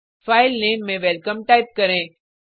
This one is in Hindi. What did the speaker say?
फाइल नेम में वेलकम टाइप करें